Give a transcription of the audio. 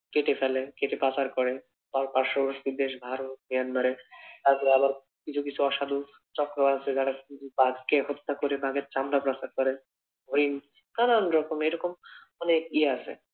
কেটে ফেলে, কেটে পাচার করে। তাও পার্শ্ববর্তী দেশ ভারত, মেয়ানমারে আর আবার কিছু কিছু অসাধু চক্র আছে যারা বাঘকে হত্যা করে বাঘের চামড়া পাচার করে। হরিন নানান রকম এরকম অনেক ইয়া আছে।